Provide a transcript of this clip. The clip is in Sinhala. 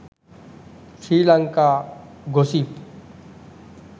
sri lanka gossip